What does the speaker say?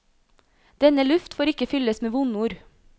Denne luft får ikke fylles med vondord.